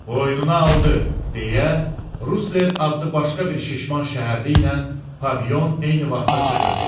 Boynuna aldı, deyə Rusler adlı başqa bir şişman şəhərli ilə Pavion eyni vaxtda çığırdı.